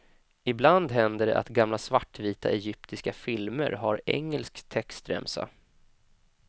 Ibland händer det att gamla svartvita egyptiska filmer har engelsk textremsa.